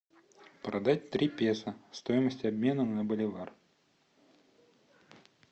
продать три песо стоимость обмена на боливар